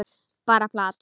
Bara plat.